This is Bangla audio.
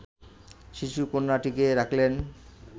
শিশুকন্যাটিকে রাখলেন